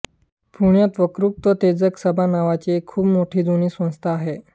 पुण्यात वक्तृत्वोत्तेजक सभा नावाची एक खूप जुनी संस्था आहे